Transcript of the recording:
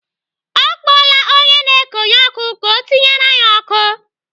Ọ kpọọla onye na-ekonye ọkụ ka ọ tinyere anyị ọkụ.